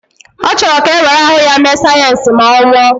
Ọ chọrọ ka e were ahụ ya mee sayensị ma ọ nwụọ